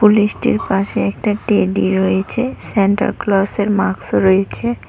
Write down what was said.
পাশে একটি টেডি রয়েছে সান্ট্যাক্লোজের মাকস রয়েছে।